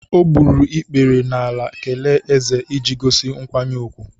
O gburu ikpere n’ala kelee Eze iji gosi nkwanye ùgwù.